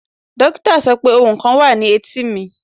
Dokita sọ pe ohun kan wa ni eti mi